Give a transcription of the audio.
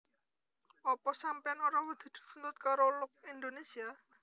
Opo sampeyan ora wedi dituntut karo Look Indonesia?